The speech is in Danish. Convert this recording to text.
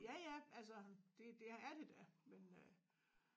Ja ja altså det det er det da men øh